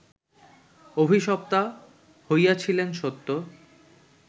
অভিশপ্তা হইয়াছিলেন, সত্য